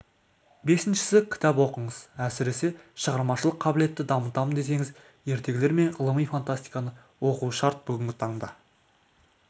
бесіншісі кітап оқыңыз әсіресе шығармашылық қабілетті дамытамын десеңіз ертегілер мен ғылыми фантастиканы оқу шарт бүгінгі таңда